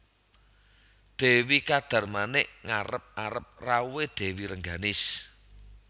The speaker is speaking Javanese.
Dewi Kadarmanik ngarep arep rawuhé Dèwi Rengganis